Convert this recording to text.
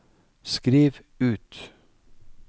skriv ut